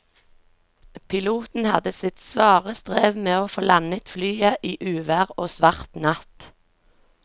Piloten hadde sitt svare strev med å få landet flyet i uvær og svart natt.